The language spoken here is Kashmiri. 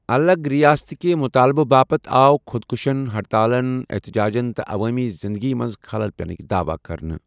اَلگ رِیاستکہِ مٗطالبٕہٕ باپت آو خۄدکٔشین ، ہڈتالن، احتِجاجن ، تہٕ عوٲمی زِنٛدگی منٛز خلل پینٗك دعوا کرنٕہ ۔